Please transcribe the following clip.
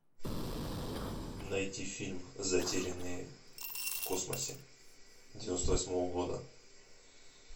найти фильм затерянные в космосе девяносто восьмого года